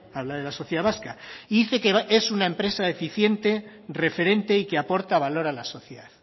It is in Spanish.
habla de la sociedad vasca y dice que es una empresa eficiente referente y que aporta valor a la sociedad